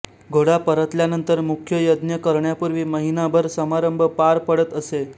घोडा परतल्यानंतर मुख्य यज्ञ करण्यापूर्वी महिनाभर समारंभ पार पडत असे